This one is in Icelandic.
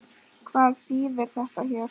Hvað þýðir þetta hér?